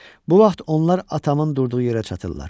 Bu vaxt onlar atamın durduğu yerə çatırlar.